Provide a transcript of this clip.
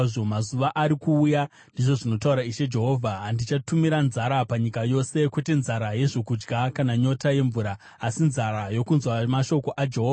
“Mazuva ari kuuya,” ndizvo zvinotaura Ishe Jehovha, “andichatumira nzara panyika yose, kwete nzara yezvokudya kana nyota yemvura, asi nzara yokunzwa mashoko aJehovha.